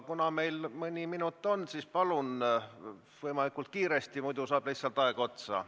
Meil veel mõni minut on, palun küsida võimalikult kiiresti, muidu saab lihtsalt aeg otsa.